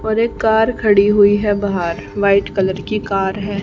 और एक कार खड़ी हुई है बहार वाइट कलर की कार है।